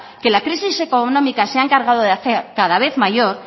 que la crisis económica se ha encargado de hacer cada vez mayor